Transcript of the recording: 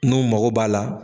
N'u mago b'a la